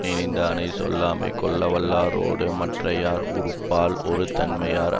நினைந்ததனைச் சொல்லாமைக் கொள்ளவல்லாரோடு மற்றையர் உறுப்பால் ஒருதன்மையர்